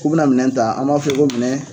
K'u bi na minɛn ta an b'a fɔ ko minɛ